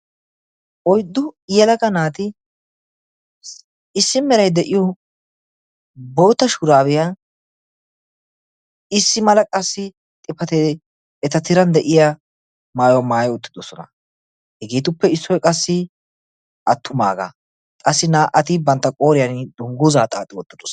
Oyddu yelagaa naati issi meray de'iyo bootta shurabbiya issi mala xifate tiran de'iyo maayyuwa maayyi uttidoosona. Hegetuppe issoy qassi attumaaaga naa''iti qassi bantta qooriyaan dungguza xaaxxi wottidoosona.